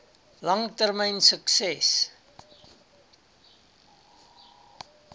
lang termyn sukses